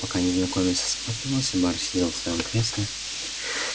пока незнакомец осматривался бар сидел в своём кресле